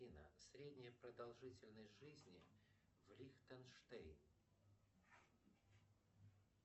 афина средняя продолжительность жизни в лихтенштейн